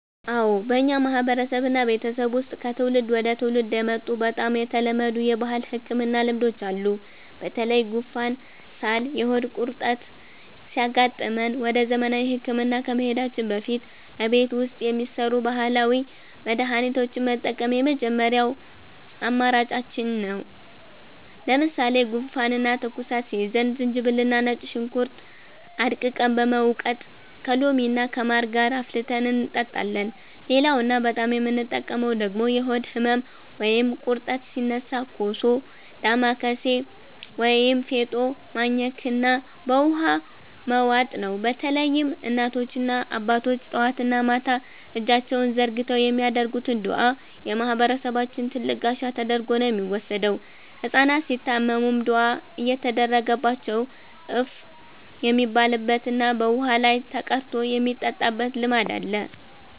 አዎ፣ በእኛ ማህበረሰብና ቤተሰብ ውስጥ ከትውልድ ወደ ትውልድ የመጡ በጣም የተለመዱ የባህል ህክምና ልማዶች አሉ። በተለይ ጉንፋን፣ ሳልና የሆድ ቁርጠት ሲያጋጥመን ወደ ዘመናዊ ህክምና ከመሄዳችን በፊት እቤት ውስጥ የሚሰሩ ባህላዊ መድሃኒቶችን መጠቀም የመጀመሪያ አማራጫችን ነው። ለምሳሌ ጉንፋንና ትኩሳት ሲይዘን ዝንጅብልና ነጭ ሽንኩርት አድቅቀን በመውቀጥ ከሎሚና ከማር ጋር አፍልተን እንጠጣለን። ሌላውና በጣም የምንጠቀምበት ደግሞ የሆድ ህመም ወይም ቁርጠት ሲነሳ ኮሶ፣ ዳማከሴ ወይም ፌጦ ማኘክና በውሃ መዋጥ ነው። በተለይም እናቶችና አባቶች ጠዋትና ማታ እጃቸውን ዘርግተው የሚያደርጉት ዱዓ የማህበረሰባችን ትልቅ ጋሻ ተደርጎ ነው የሚወሰደው። ህጻናት ሲታመሙም ዱዓ እየተደረገባቸው እፍ የሚባልበትና በውሃ ላይ ተቀርቶ የሚጠጣበት ልማድ አለ።